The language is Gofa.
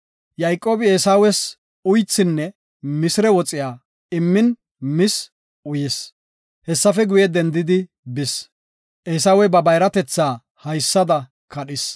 Yayqoobi Eesawes uythinne misire woxe immin mis uyis. Hessafe guye dendidi bis. Eesawey ba bayratetha haysada kadhis.